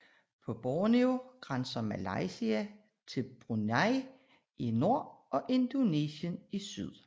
På Borneo grænser Malaysia til Brunei i nord og Indonesien i syd